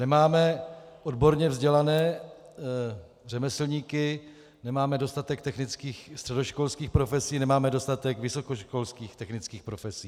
Nemáme odborně vzdělané řemeslníky, nemáme dostatek technických středoškolských profesí, nemáme dostatek vysokoškolských technických profesí.